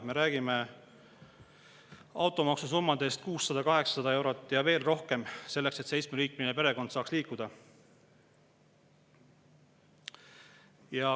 Me räägime automaksusummadest 600–800 eurot ja veel rohkem, selleks et seitsmeliikmeline perekond saaks liikuda.